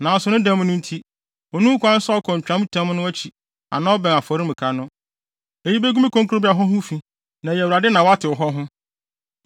Nanso ne dɛm no nti, onni ho kwan sɛ ɔkɔ ntwamtam no akyi anaa ɔbɛn afɔremuka no. Eyi begu me kronkronbea hɔ ho fi na ɛyɛ Awurade na watew hɔ ho.”